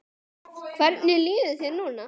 Karen: Hvernig líður þér núna?